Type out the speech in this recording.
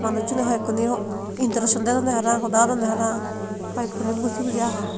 manuj sune hoi ekkune yo introson dedonne parapang hoda hodone parahang hoi ekkune buji buji agon.